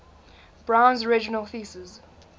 brown's original thesis